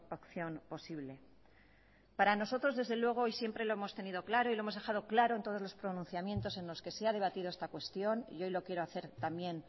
opción posible para nosotros desde luego y siempre lo hemos tenido claro y lo hemos dejado claro en todos los pronunciamientos en los que se ha debatido esta cuestión y hoy lo quiero hacer también